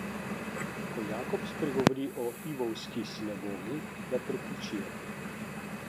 Ko Jakob spregovori v lvovski sinagogi, ga prekričijo.